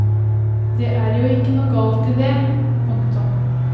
Det er jo ikke noe galt i det. punktum